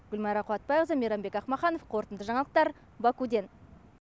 гүлмайра қуатбайқызы мейрамбек ақмаханов қорытынды жаңалықтар бакуден